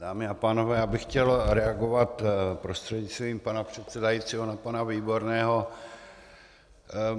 Dámy a pánové, já bych chtěl reagovat prostřednictvím pana předsedajícího na pana Výborného.